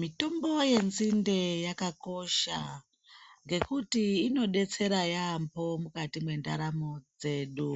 Mitombo yenzinde yakakosha ngekuti inodetsera yaamho mukati mwendaramo dzedu.